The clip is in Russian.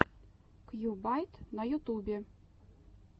кьюбайт на ютубе